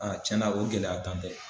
tiɲɛna o gɛlɛya tan tɛ.